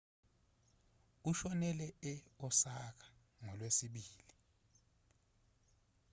ushonele e-osaka ngolwesibili